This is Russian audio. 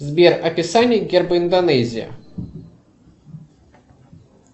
сбер описание герба индонезии